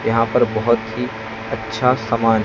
यहां पर बहोत ही अच्छा समान--